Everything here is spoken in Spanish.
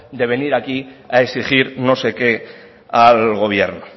de venir aquí a exigir no sé qué al gobierno